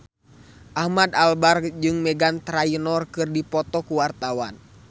Ahmad Albar jeung Meghan Trainor keur dipoto ku wartawan